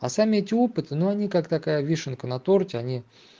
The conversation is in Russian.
а сам ютуб это ну они как такая вишенка на торте они